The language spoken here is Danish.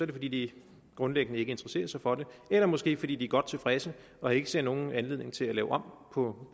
det fordi de grundlæggende ikke interesserer sig for det eller måske fordi de er godt tilfredse og ikke ser nogen anledning til at lave om på